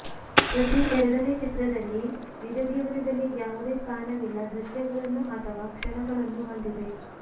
ಪ್ರತಿ ಎರಡನೇ ಚಿತ್ರದಲ್ಲಿ ನಿಜ ಜೀವನದಲ್ಲಿ ಯಾವುದೇ ಸ್ಥಾನವಿಲ್ಲ ದೃಶ್ಯಗಳನ್ನು ಅಥವಾ ಕ್ಷಣಗಳನ್ನು ಹೊಂದಿದೆ